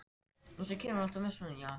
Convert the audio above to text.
Þegar hún til dæmis gerði stóra